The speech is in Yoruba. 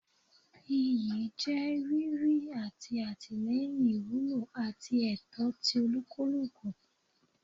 Iyi je riri ati atilẹyin iwulo ati ẹtọ ti olukuluku